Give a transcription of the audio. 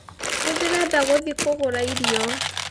Nĩndĩrenda gũthiĩ kũgũra irio